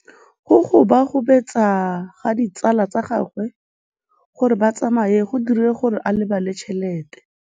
Go gobagobetsa ga ditsala tsa gagwe, gore ba tsamaye go dirile gore a lebale tšhelete.